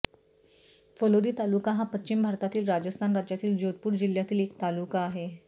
फलोदी तालुका हा पश्चिम भारतातील राजस्थान राज्यातील जोधपूर जिल्ह्यातील एक तालुका आहे